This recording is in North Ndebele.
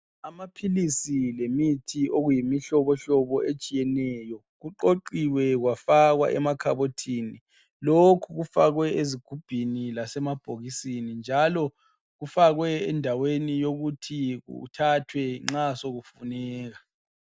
Amaphilisi lemithi okuyimihlobohlobo etshiyeneyo kuqoqiwe kwafakwa emakhabothini lokhu kufakwe ezigubhini lasemabhokisini kufakwe indaweni yokuthi kuthathwe nxasokufuneka